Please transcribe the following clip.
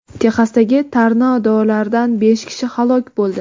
Texasdagi tornadolarda besh kishi halok bo‘ldi.